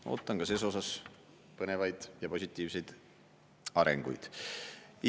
Ma ootan ka selles osas põnevaid ja positiivseid arenguid.